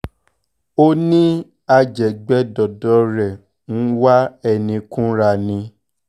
ó ní ajẹ̀gbẹdọ̀dọ̀ rẹ̀ ń wá ẹni kúnra ni